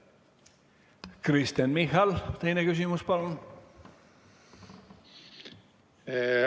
Kristen Michal, teine küsimus, palun!